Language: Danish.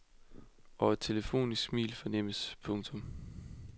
Og et telefonisk smil fornemmes. punktum